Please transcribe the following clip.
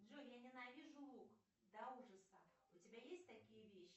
джой я ненавижу лук до ужаса у тебя есть такие вещи